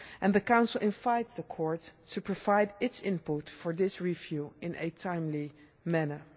The Council invites the Court to provide its input for this review in a timely manner.